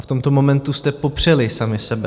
A v tomto momentu jste popřeli sami sebe.